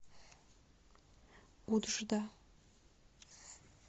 уджда